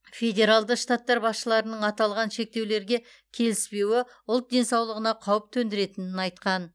федералды штаттар басшыларының аталған шектеулерге келіспеуі ұлт денсаулығына қауіп төндіретінін айтқан